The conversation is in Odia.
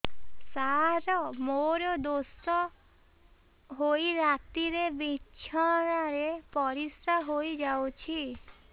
ସାର ମୋର ଦୋଷ ହୋଇ ରାତିରେ ବିଛଣାରେ ପରିସ୍ରା ହୋଇ ଯାଉଛି